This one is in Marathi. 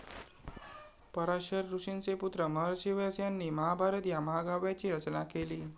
पराशर ऋषींचे पुत्र महर्षी व्यास यांनी महाभारत या महाकाव्याची रचना केली.